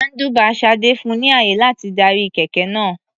Handlebar Sade fun ni ààyè láti darí kẹ̀kẹ́ náà.